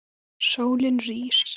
Sólin rís.